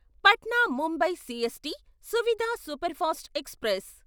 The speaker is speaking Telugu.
Patna Mumbai CST Suvidha superfast express